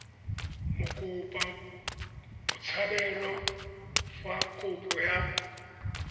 mokopa botshabelo fa kopo ya